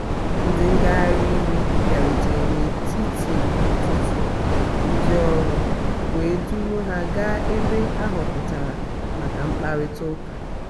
ndị ngagharị iwe bịarutere n’etiti ụtụtụ ndị ọrụ wee duru ha gaa ebe a họpụtara maka mkparịta ụka.